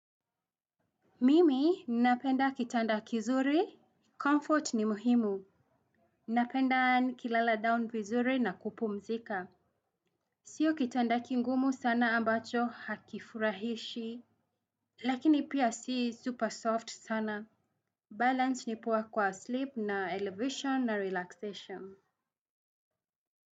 Mimi ninapenda kitanda kizuri Comfort ni muhimu. Ninapenda nikilala down vizuri na kupumzika. Sio kitanda kingumu sana ambacho hakifurahishi. Lakini pia si super soft sana Balance ni poa kwa sleep na elevation na relaxation.